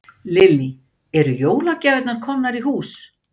Lillý: Eru jólagjafir komnar í hús?